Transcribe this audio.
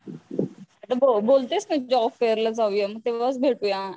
आता बोलतेस ना जॉब फेर ला जाऊया तेव्हाच भेटूया.